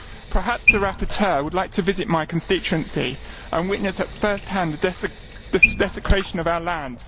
Perhaps the rapporteur would like to visit my constituency and witness at first hand the desecration of our land.